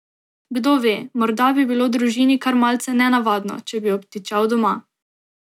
Kdo ve, morda bi bilo družini kar malce nenavadno, če bi obtičal doma.